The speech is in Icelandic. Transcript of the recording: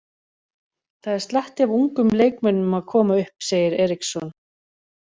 Það er slatti af ungum leikmönnum að koma upp, segir Eriksson.